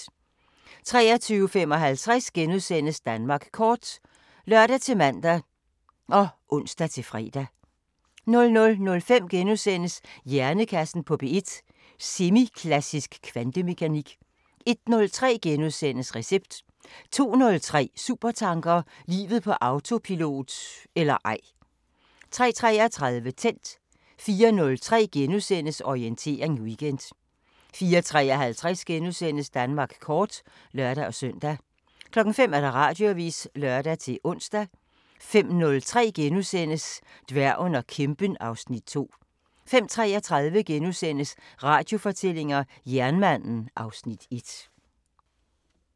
23:55: Danmark kort *(lør-man og ons-fre) 00:05: Hjernekassen på P1: Semiklassisk kvantemekanik * 01:03: Recept * 02:03: Supertanker: Livet på autopilot – eller ej 03:33: Tændt 04:03: Orientering Weekend * 04:53: Danmark kort *(lør-søn) 05:00: Radioavisen (lør-ons) 05:03: Dværgen og kæmpen (Afs. 2)* 05:33: Radiofortællinger: Jernmanden (Afs. 1)*